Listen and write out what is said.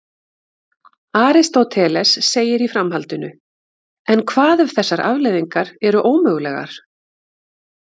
Aristóteles segir í framhaldinu: En hvað ef þessar afleiðingar eru ómögulegar?